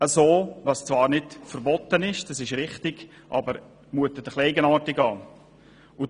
Das ist zwar nicht verboten, das ist richtig, aber es mutet etwas eigenartig an.